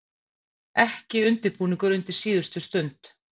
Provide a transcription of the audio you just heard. Ekki undirbúningur undir síðustu stund.